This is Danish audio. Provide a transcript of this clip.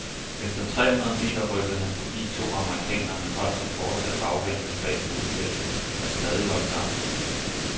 Efter tre hundrede meter rykkede han forbi to amerikanere, men holdt sig fortsat afventende bag hovedfeltet, der stadig holdt sammen.